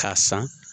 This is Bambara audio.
K'a san